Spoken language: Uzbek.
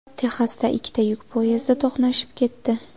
Texasda ikkita yuk poyezdi to‘qnashib ketdi.